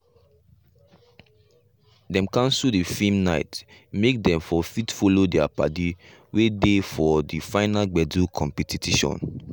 dem canso the film nite make dem for fit follow their paddy wen dey for the final gbedu compitition.